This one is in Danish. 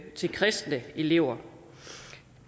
til kristne elever